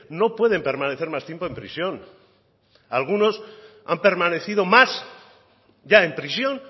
no pueden permanecer más tiempo en prisión algunos han permanecido más ya en prisión